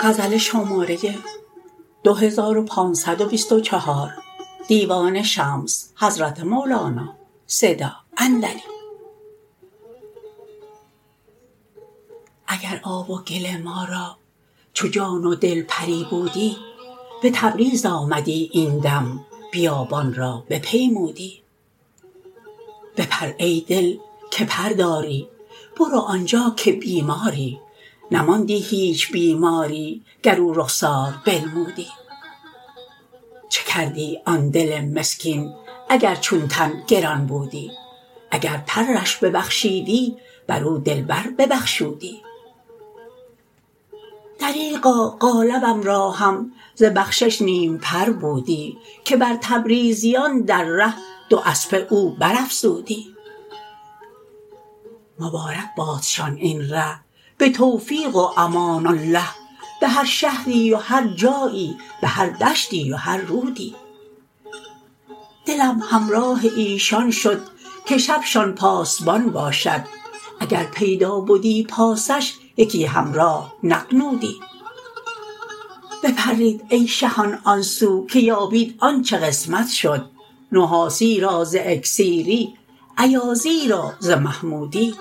اگر آب و گل ما را چو جان و دل پری بودی به تبریز آمدی این دم بیابان را بپیمودی بپر ای دل که پر داری برو آن جا که بیماری نماندی هیچ بیماری گر او رخسار بنمودی چه کردی آن دل مسکین اگر چون تن گران بودی اگر پرش ببخشیدی بر او دلبر ببخشودی دریغا قالبم را هم ز بخشش نیم پر بودی که بر تبریزیان در ره دواسپه او برافزودی مبارک بادشان این ره به توفیق و امان الله به هر شهری و هر جایی به هر دشتی و هر رودی دلم همراه ایشان شد که شبشان پاسبان باشد اگر پیدا بدی پاسش یکی همراه نغنودی بپرید ای شهان آن سو که یابید آنچ قسمت شد نحاسی را ز اکسیری ایازی را ز محمودی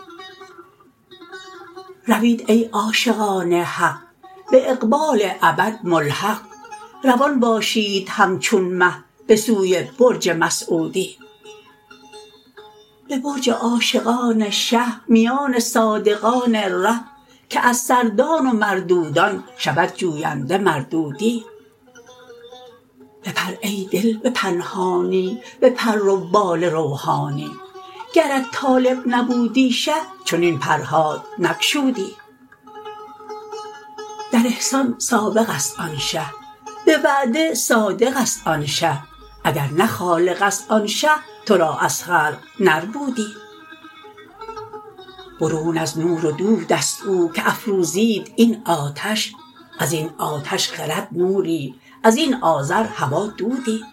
روید ای عاشقان حق به اقبال ابد ملحق روان باشید همچون مه به سوی برج مسعودی به برج عاشقان شه میان صادقان ره که از سردان و مردودان شود جوینده مردودی بپر ای دل به پنهانی به پر و بال روحانی گرت طالب نبودی شه چنین پرهات نگشودی در احسان سابق است آن شه به وعده صادق است آن شه اگر نه خالق است آن شه تو را از خلق نربودی برون از نور و دود است او که افروزید این آتش از این آتش خرد نوری از این آذر هوا دودی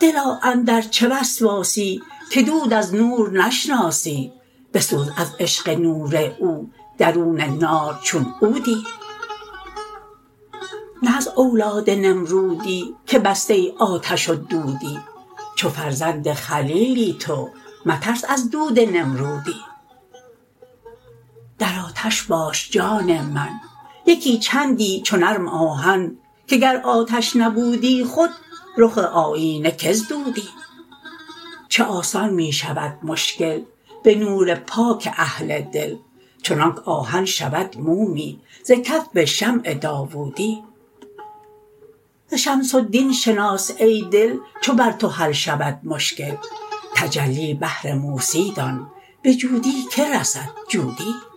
دلا اندر چه وسواسی که دود از نور نشناسی بسوز از عشق نور او درون نار چون عودی نه از اولاد نمرودی که بسته آتش و دودی چو فرزند خلیلی تو مترس از دود نمرودی در آتش باش جان من یکی چندی چو نرم آهن که گر آتش نبودی خود رخ آیینه که زدودی چه آسان می شود مشکل به نور پاک اهل دل چنانک آهن شود مومی ز کف شمع داوودی ز شمس الدین شناس ای دل چو بر تو حل شود مشکل تجلی بهر موسی دان به جودی که رسد جودی